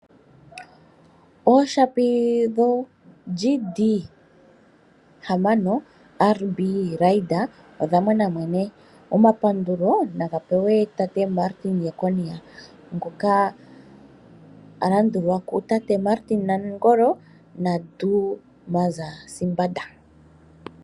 Ooshapi dho GD-6 RB Raider odha mona mwene. Omapandulo naga pewe Tate Martin Jeckonia ngoka alandulwa kutate Martin Nangolo na Dumaza Sibanda.